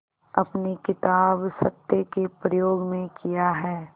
अपनी किताब सत्य के प्रयोग में किया है